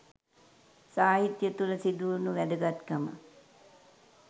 සාහිත්‍ය තුළ සිදුවුණු වැදගත්කම්